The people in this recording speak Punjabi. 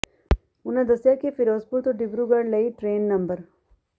ਉਨ੍ਹਾਂ ਦੱਸਿਆ ਕਿ ਫਿਰੋਜ਼ਪੁਰ ਤੋਂ ਡਿਬਰੂਗੜ੍ਹ ਲਈ ਟਰੇਨ ਨੰ